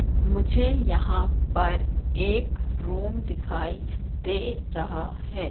मुझे यहां पर एक रूम दिखाई दे रहा है।